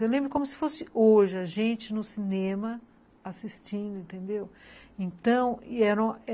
Eu lembro como se fosse hoje a gente no cinema assistindo, entendeu? então era